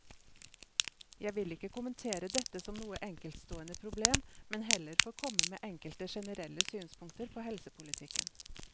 Jeg vil ikke kommentere dette som noe enkeltstående problem, men heller få komme med enkelte generelle synspunkter på helsepolitikken.